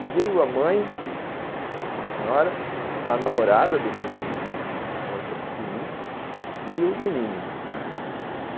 E veio a mãe, uma senhora, a namorada do menino, uma moça bonita, e o menino, né.